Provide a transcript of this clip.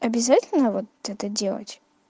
обязательно вот это делать